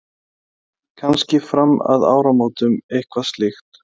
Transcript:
Lillý: Kannski fram að áramótum eitthvað slíkt?